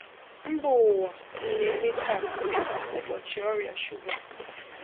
Mba ụwa na-eme taa dị ka ụbọchị ọrịa shuga.